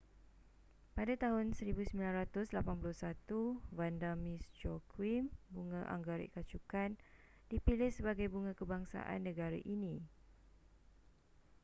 pada tahun 1981 vanda miss joaquim bunga anggerik kacukan dipilih sebagai bunga kebangsaan negara ini